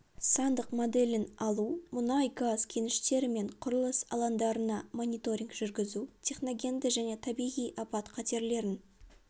сандық моделін алу мұнай-газ кеніштері мен құрылыс алаңдарына мониторинг жүргізу техногенді және табиғи апат қатерлерін